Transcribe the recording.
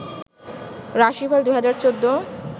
রাশি ফল ২০১৪